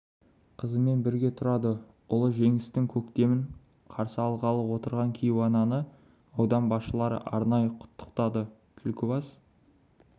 қызымен бірге тұрады ұлы жеңістің көктемін қарсы алғалы отырған кейуананы аудан басшылары арнайы құттықтады түлкібас